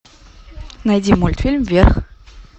найди мультфильм вверх